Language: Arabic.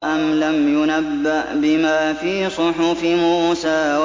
أَمْ لَمْ يُنَبَّأْ بِمَا فِي صُحُفِ مُوسَىٰ